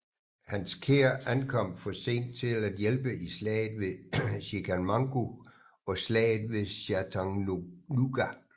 Hans kær ankom for sent til at hjælpe i Slaget ved Chickamauga og Slaget ved Chattanooga